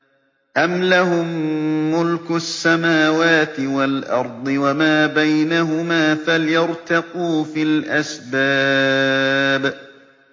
أَمْ لَهُم مُّلْكُ السَّمَاوَاتِ وَالْأَرْضِ وَمَا بَيْنَهُمَا ۖ فَلْيَرْتَقُوا فِي الْأَسْبَابِ